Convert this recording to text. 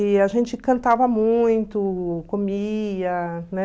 E a gente cantava muito, comia